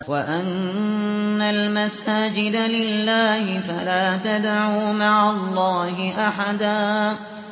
وَأَنَّ الْمَسَاجِدَ لِلَّهِ فَلَا تَدْعُوا مَعَ اللَّهِ أَحَدًا